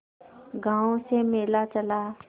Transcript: गांव से मेला चला